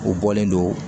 U bɔlen don